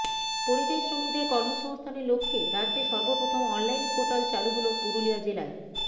পরিযায়ী শ্রমিকদের কর্মসংস্থানের লক্ষ্যে রাজ্যে সর্বপ্রথম অনলাইন পোর্টাল চালু হলো পুরুলিয়া জেলায়